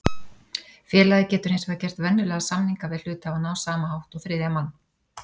Félagið getur hins vegar gert venjulega samninga við hluthafana á sama hátt og þriðja mann.